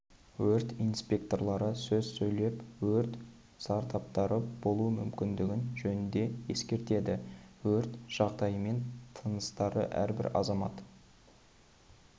өрт инспекторлары сөз сөйлеп өрт зардаптары болуы мүмкіндігі жөнінде ескертеді өрт жағдайымен таныстырады әрбір азамат